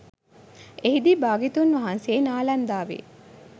එහිදී භාග්‍යවතුන් වහන්සේ නාලන්දාවෙ